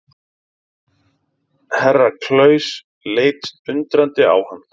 Herra Klaus leit undrandi á hann.